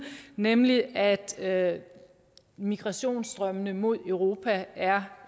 nemlig at at migrationsstrømmene mod europa er